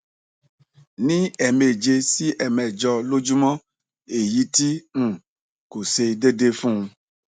ni emeje si emejo lojumo eyi ti um ko se deede fun